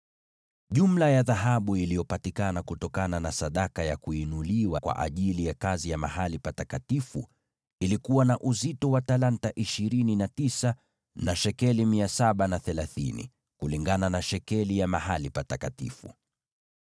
Jumla ya dhahabu iliyopatikana kutokana na sadaka ya kuinuliwa kwa ajili ya kazi ya mahali patakatifu ilikuwa na uzito wa talanta 29 na shekeli 730, kulingana na shekeli ya mahali patakatifu.